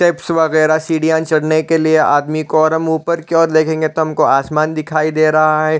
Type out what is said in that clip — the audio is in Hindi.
टेप्स वगरह सीढियाँ चढ़ने के लिए आदमी को और हम ऊपर की ओर लगेंगे तो हमको आसमान दिखाई दे रहा है ।